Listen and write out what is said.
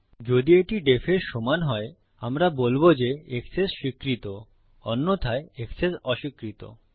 যদি এটি def এর সমান হয় আমরা বলবো যে এক্সেস স্বীকৃত অন্যথায় এক্সেস অস্বীকৃত